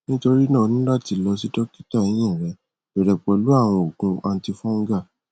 nitorina o ni lati lọ si dokita ehin rẹ bẹrẹ pẹlu awọn oogun antifungal